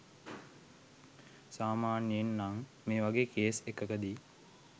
සාමාන්‍යයෙන් නං මේවගේ කේස් එකකදි